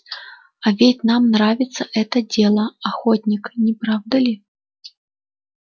а ведь нам нравится это дело охотник не правда ли